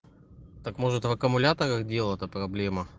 так может в аккумуляторах дела-то проблема